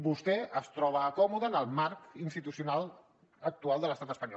vostè es troba còmode en el marc institucional actual de l’estat espanyol